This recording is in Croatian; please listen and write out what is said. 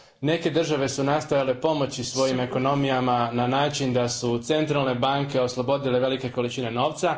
Neke su države nastojale pomoći svojim ekonomijama na način da su centralne banke oslobodile velike količine novca.